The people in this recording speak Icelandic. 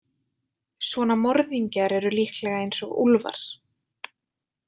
Svona morðingjar eru líklega eins og úlfar.